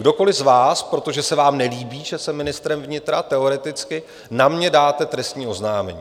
Kdokoliv z vás, protože se vám nelíbí, že jsem ministrem vnitra, teoreticky, na mě dáte trestní oznámení.